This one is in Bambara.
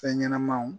Fɛn ɲɛnɛmanw